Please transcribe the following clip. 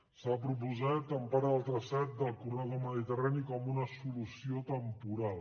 s’ha proposat en part del traçat del corredor mediterrani com una solució temporal